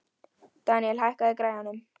Deníel, hækkaðu í græjunum.